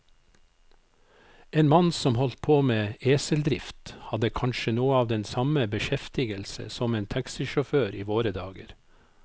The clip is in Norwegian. En mann som holdt på med eseldrift, hadde kanskje noe av den samme beskjeftigelse som en taxisjåfør i våre dager.